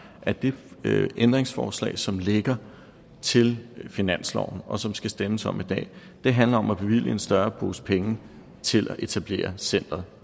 at det ændringsforslag som ligger til finansloven og som der skal stemmes om i dag handler om at bevilge en større pose penge til at etablere centeret